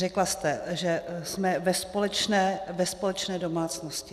Řekla jste, že jsme ve společné domácnosti.